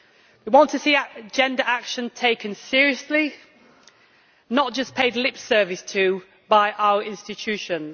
We want to see agenda action taken seriously, not just paid lip service to by our institutions.